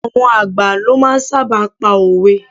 Àwọn àgbà ló máa ń sábà pa òwe.